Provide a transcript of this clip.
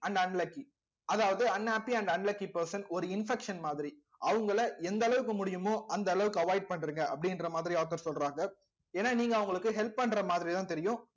and unlucky அதாவது unhappy and unlucky person ஒரு infection மாதிரி அவங்களை எந்த அளவுக்கு முடியுமோ அந்த அளவுக்கு avoid பண்றீங்க அப்படின்ற மாதிரி author சொல்றாங்க ஏன்னா நீங்க அவங்களுக்கு help பண்ற மாதிரிதான் தெரியும்